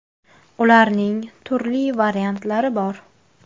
Ularning turli variantlari bor.